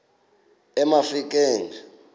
emafikeng